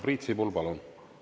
Priit Sibul, palun!